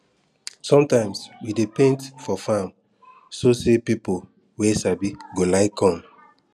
sometimes we dey paint for farm so say people wey sabi go like come